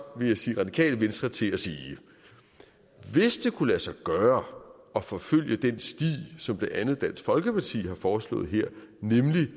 radikale venstre til at sige hvis det kunne lade sig gøre at forfølge den sti som blandt andet dansk folkeparti har foreslået her nemlig